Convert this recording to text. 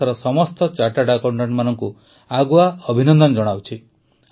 ମୁଁ ଦେଶର ସମସ୍ତ ଚାର୍ଟାର୍ଡ ଆକାଉଂଟାଂଟଙ୍କୁ ଆଗୁଆ ଅଭିନନ୍ଦନ ଜଣାଉଛି